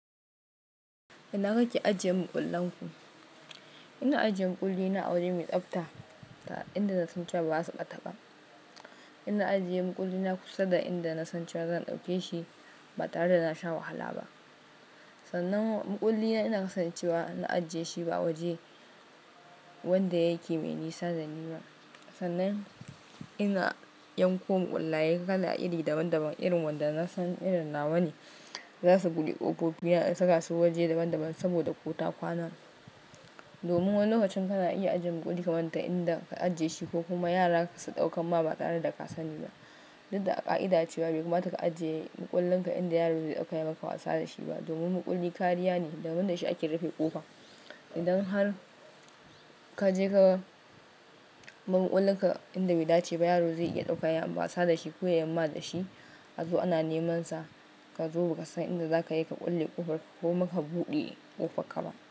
Ina kake ajiye makullan ku? Ina ajiyen makulli na a waje mai tsafta, inda na san cewa ba za su ɓata ba. Ina ajiyen makulli na kusa da inda na san cewa zan ɗauke shi ba tare da na sha wahala ba. Sannan makulli na ina kasancewa na ajiyeshi ba waje wanda yake mai nisa da ni ba. Sannan ina yanko makullaye kala iri daban-daban irin wanda na san irin nawa ne za su buɗe ƙofofi na in saka su waje daban-daban saboda ƙota kwana. Domin wani lokacin kana iya ajiye makulli ka manta inda ka ajiye shi ko kuma yara su ɗaukamma ba tare da kasani ba Dud da a ƙa'ida cewa bai kamata ka ajiye makullin ka inda yaro zai iya ɗauka ya makawa sa da shi ba. Domin makulli kariya ne, daban da shi ake rufe ƙofa. Idan har ka je ka bar makullin ka inda baidace ba yaro zai iya ɗauka yai wasa da shi ko ya yamma da shi, a zo ana neman sa, ka zo ba ka san inda za ka yi ka kulle ƙofar ka ko maka buɗe ƙofar ka ba.